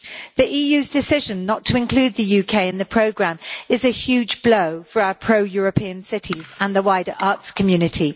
The EU's decision not to include the UK in the programme is a huge blow for our pro European cities and the wider arts community.